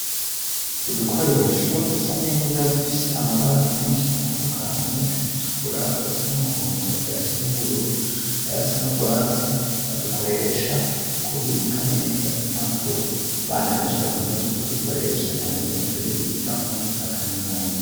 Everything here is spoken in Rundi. Udukoresho dusa neza dufise amabara meshi atandukanye ayatukura ayasa n'umuhondo ayasa n'ubururu ayasa n'urwatsi badukoresha mu kubika neza impapuro abana beshi bakunda ku dukoresha n'abanyeshuri biga muri za kaminuza.